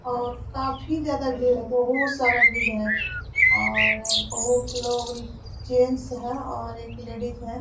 और काफ़ी ज्यादा भीड़ है बहुत सारा भीड़ है और बहुत लोग जेन्ट्स है और एक लेडीज है ।